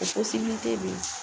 O bɛ yen.